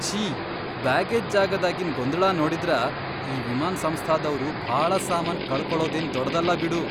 ಛೀ ಬ್ಯಾಗೇಜ್ ಜಾಗಾದಾಗಿನ್ ಗೊಂದಳ ನೋಡಿದ್ರ, ಈ ವಿಮಾನ್ ಸಂಸ್ಥಾದವ್ರು ಭಾಳ ಸಾಮಾನ್ ಕಳಕೊಳದೇನ್ ದೊಡದಲ್ಲ ಬಿಡು.